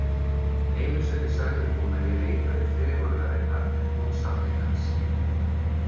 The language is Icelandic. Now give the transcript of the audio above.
Einu sinni sagði hún að ég leitaði fegurðarinnar en hún sannleikans.